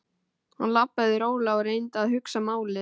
Hann labbaði rólega og reyndi að hugsa málið.